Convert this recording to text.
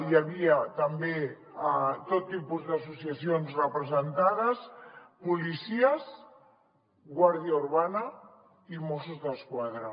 hi havia també tot tipus d’associacions representades policies guàrdia urbana i mossos d’esquadra